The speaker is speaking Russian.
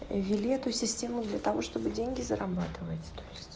ввели эту систему для того чтобы деньги зарабатывать